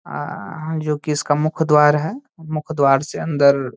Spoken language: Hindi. अ ह जोकि इसका मुख्य द्वार है। मुख्य द्वार से अंदर --